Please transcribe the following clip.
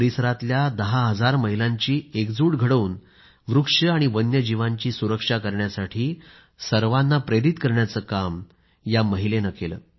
परिसरातल्या दहा हजार महिलांची एकजूट घडवून वृक्ष आणि वन्यजीवांची सुरक्षा करण्यासाठी सर्वांना प्रेरित करण्याचं काम या महिलेनं केलं